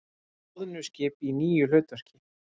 Loðnuskip í nýju hlutverki